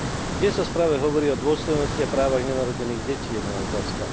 Kde sa v správe hovorí o dôstojnosti a právach nenarodených detí, je moja otázka.